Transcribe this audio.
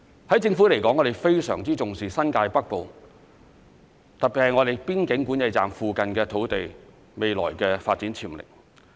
對政府來說，我們非常重視新界北部，特別是邊境管制站附近土地未來的發展潛力。